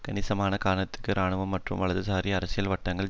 கணிசமான காலத்திற்கு இராணுவம் மற்றும் வலதுசாரி அரசியல் வட்டங்களில்